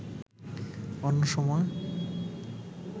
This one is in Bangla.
অন্য সময়